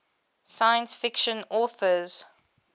science fiction authors